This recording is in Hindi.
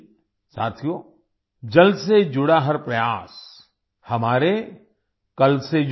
साथियो जल से जुड़ा हर प्रयास हमारे कल से जुड़ा है